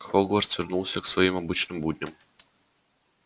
хогвартс вернулся к своим обычным будням